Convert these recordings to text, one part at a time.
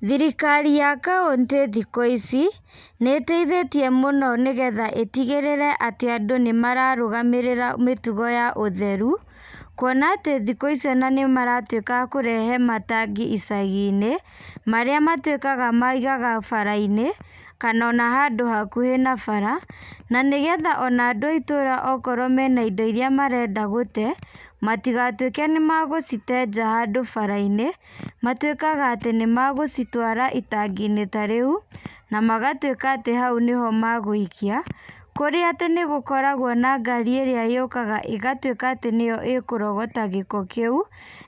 Thirikari ya kauntĩ thikũ ici, nĩteithĩtie mũno nĩgetha ĩtigĩrĩre atĩ andũ nĩmararũgamĩrĩra mũtugo wa ũtheru, kuona atĩ thikũ ici ona nĩmaratwĩka a kũrehe matangi icagi-inĩ, marĩa matwĩkaga maigaga bara-inĩ, kanona handũ hakuhĩ na bara, na nĩgetha ona andũ a itũra akorwo mena indo iria marenda gũte, amtigatwĩke nĩmagũcite nja handũ bara-inĩ, matwĩkaga atĩ nĩmagũcitwara itangi-inĩ ta rĩu, na magatwĩka atĩ hau nĩho magũikia, kũrĩa atĩ nĩgukoragwo na ngari ĩrĩa yũkaga ĩgatwĩka atĩ nĩyo ĩkũrogota gĩko kĩu,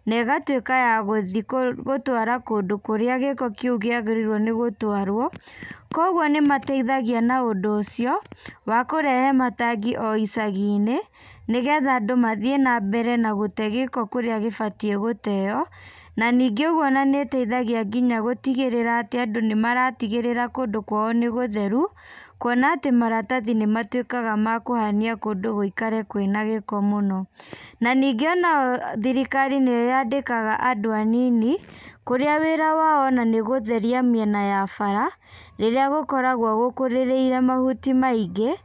negatwĩka ya gũthi kũtwara kũndũ kũrĩa gĩko kíu kĩagĩrĩirwo nĩ gũtwarwo, koguo nímateithagia na ũndũ wa kũrehe matangi o icagi-inĩ, nĩgetha andũ mathiĩ nambere na gũte gĩko kũrĩa gĩbatiĩ gũteo, na ningĩ rĩu ona nĩteithagia ona gũtigĩrĩra atĩ andũ nĩmaratigĩrĩra kũndũ kwao nĩ gũtheru, kuona atí maratathi nĩmatwĩkaga makũhania kũndũ gũikare kwĩna gĩko mũno, na ningĩ ona thirikari nĩyandĩkaga andũ anini, kũrĩa wĩra wao ona nĩ gũtheria mwena wa bara, kũrĩa gũkoragwo gũkũrĩrĩire mahuti maingĩ,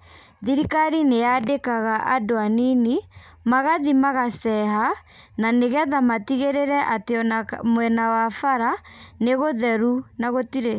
thirikari nĩyandĩkaga andũ anini, magathi magaceha, na nĩgetha matigĩrĩre atĩ ona mwena wa bara, nĩgũtheru na gũtirĩ.